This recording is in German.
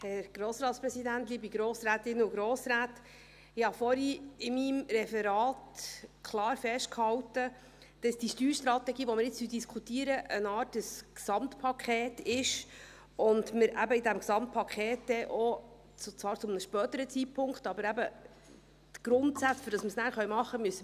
Ich habe vorhin in meinem Referat klar festgehalten, dass die Steuerstrategie, die wir jetzt diskutieren, eine Art Gesamtpaket ist und wir eben in diesem Gesamtpaket dann auch Entlastungen für natürliche und juristische Personen vorsehen wollen;